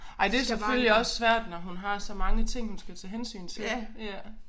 Ej det selvfølgelig også svært når hun har så mange ting hun skal tage hensyn til ja